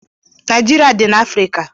Naijiria dị na Afrịka.